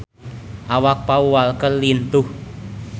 Awak Paul Walker lintuh